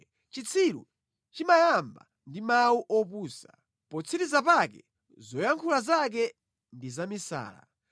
Chitsiru chimayamba ndi mawu opusa; potsiriza pake zoyankhula zake ndi zamisala